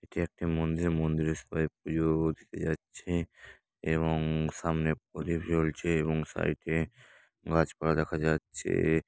এটি একটি মন্দির মন্দিরে সবাই পূজো দিতে যাচ্ছে এবং সামনে প্রদীপ জ্বলছে এবং সাইডে গাছপালা দেখা যাচ্ছে।